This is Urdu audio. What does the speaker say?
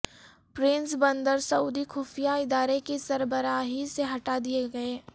پرنس بندر سعودی خفیہ ادارے کی سربراہی سے ہٹا دیےگئے